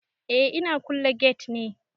Eh ina kulle gate ne.